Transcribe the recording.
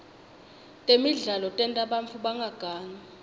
temidlalo tenta bantfu bangagangi